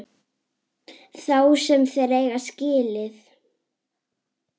Þá sem þeir eiga skilið.